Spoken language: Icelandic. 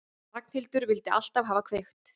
Ragnhildur vildi alltaf hafa kveikt.